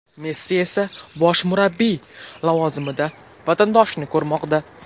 Messi esa bosh murabbiy lavozimida vatandoshini ko‘rmoqda.